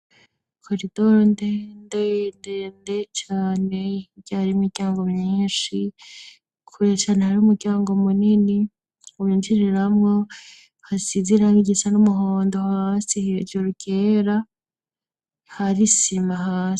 Koridoro nte ndeyndende cane iryari miryango minshi kkurecana hari umuryango munini ubinciriramwo hasiziranga igisa n'umuhondo hasi hejuru kera harisima hase.